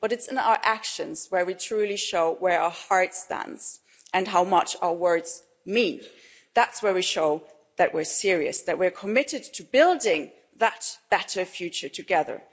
But it is by our actions that we truly show where our heart stands and how much our words mean. That's where we show that we are serious, that we are committed to building that better future together.